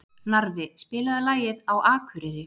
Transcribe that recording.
Narfi, spilaðu lagið „Á Akureyri“.